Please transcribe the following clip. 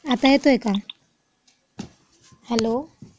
आता येतोय का? हेलो.